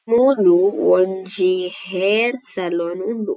ಮೂಲು ಒಂಜಿ hair salon ಉಂಡು.